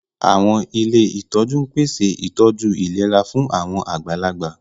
Àwọn ilé ìtọ́jú ń pèsè ìtọ́jú ìlera fún àwọn àgbàlagbà